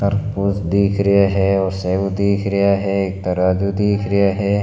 तरबूज दिख रिया है और सेव दिख रिया है एक तराजू दिख रियो है।